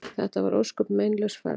Þetta var ósköp meinlaus ferð.